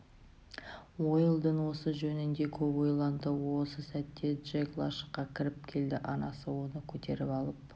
уэлдон осы жөнінде көп ойланды осы сәтте джек лашыққа кіріп келді анасы оны көтеріп алып